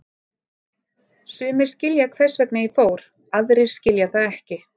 Sumir skilja hvers vegna ég fór, aðrir skilja það ekki.